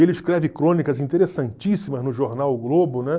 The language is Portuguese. Ele escreve crônicas interessantíssimas no jornal O Globo, né?